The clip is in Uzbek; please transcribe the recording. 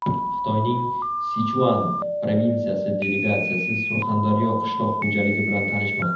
Xitoyning Sichuan provinsiyasi delegatsiyasi Surxondaryo qishloq xo‘jaligi bilan tanishmoqda.